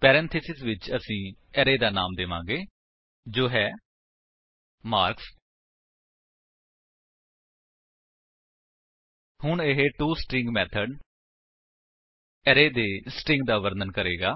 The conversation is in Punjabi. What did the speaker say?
ਪੈਰੇਂਥੇਸਿਸ ਵਿੱਚ ਅਸੀ ਅਰੇ ਦਾ ਨਾਮ ਦੇਵਾਂਗੇ ਜੋ ਹੈ ਮਾਰਕਸ ਹੁਣ ਇਹ ਟੋਸਟਰਿੰਗ ਮੇਥਡ ਅਰੇ ਦੇ ਸਟਰਿੰਗ ਦਾ ਵਰਣਨ ਕਰੇਗਾ